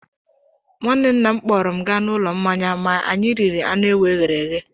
Nwanne nna m kpọọrọ m gaa n'ụlọ mmanya ma anyị riri anụ ewu eghere eghe.